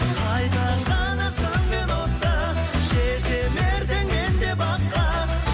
қайта жанар сөнген от та жетелердім мен де баққа